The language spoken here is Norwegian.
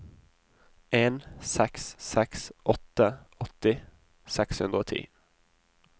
en seks seks åtte åtti seks hundre og ti